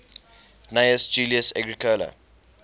gnaeus julius agricola